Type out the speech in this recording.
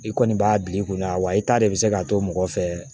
I kɔni b'a bil'i kunna wa i ta de bɛ se k'a to mɔgɔ fɛ